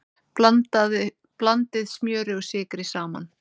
Blandið smjöri og sykri saman.